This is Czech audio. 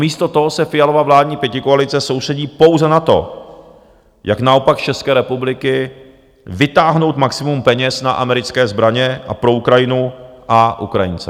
Místo toho se Fialova vládní pětikoalice soustředí pouze na to, jak naopak z České republiky vytáhnout maximum peněz na americké zbraně a pro Ukrajinu a Ukrajince.